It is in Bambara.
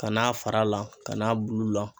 Ka n'a fara la ka n'a bulu la.